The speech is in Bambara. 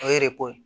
O ye ko ye